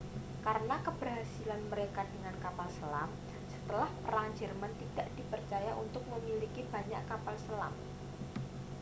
karena keberhasilan mereka dengan kapal selam setelah perang jerman tidak dipercaya untuk memiliki banyak kapal selam